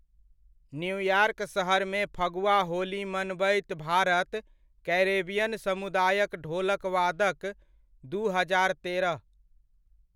New York सहरमे फगुआ होली मनबैत Bharat Caribbean समुदायक ढोलकवादक, दू हजार तेरह।